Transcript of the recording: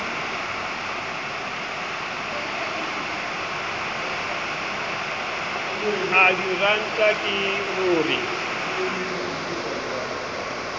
a diranta ke ho re